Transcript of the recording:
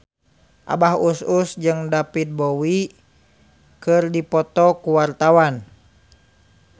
Abah Us Us jeung David Bowie keur dipoto ku wartawan